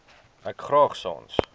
ek graag sans